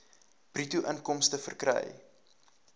bruto inkomste verkry